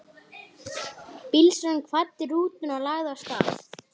Bílstjórinn kvaddi og rútan lagði af stað.